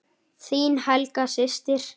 Þín Helga systir.